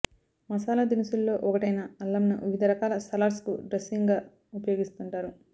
మసాలా దినుసుల్లో ఒకటైన అల్లంను వివిధ రకాల సలాడ్స్ కు డ్రెస్సింగ్ గా ఉపయోగిస్తుంటారు